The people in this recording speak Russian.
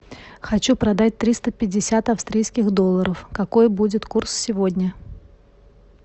хочу продать триста пятьдесят австрийских долларов какой будет курс сегодня